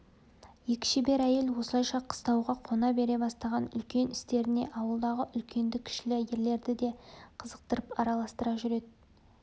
екі шебер әйел осылайша қыстауға қона бере бастаған үлкен істеріне ауылдағы үлкенді-кішілі ерлерді де қызықтырып араластыра жүреді